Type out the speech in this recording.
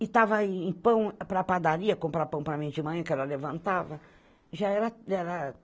e estava em pão para a padaria, comprar pão para mim de manhã, que ela levantava. Já era, já era